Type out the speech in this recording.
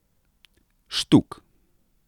Štuk.